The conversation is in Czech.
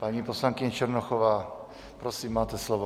Paní poslankyně Černochová, prosím, máte slovo.